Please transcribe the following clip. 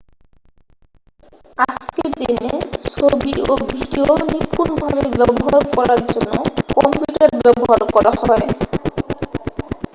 আজকের দিনে ছবি ও ভিডিও নিপূনভাবে ব্যবহার করার জন্য কম্পিউটার ব্যবহার করা হয়